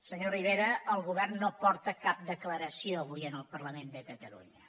senyor rivera el govern no porta cap declaració avui al parlament de catalunya